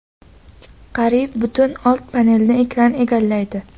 Qariyb butun old panelni ekran egallaydi.